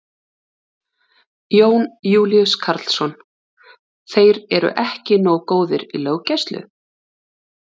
Jón Júlíus Karlsson: Þeir eru ekki nógu góðir í löggæslu?